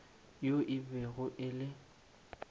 yo e bego e le